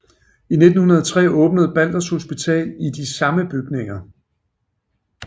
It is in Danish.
I 1903 åbnede Balders Hospital i de samme bygninger